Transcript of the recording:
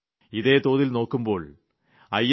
് ഇതേ തോതിൽ നോക്കുമ്പോൾ ഐ